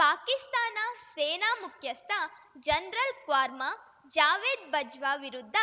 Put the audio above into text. ಪಾಕಿಸ್ತಾನ ಸೇನಾ ಮುಖ್ಯಸ್ಥ ಜನರಲ್‌ ಖ್ವಾರ್ಮಾ ಜಾವೇದ್‌ ಬಜ್ವಾ ವಿರುದ್ಧ